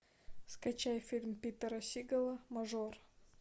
скачай фильм питера сигала мажор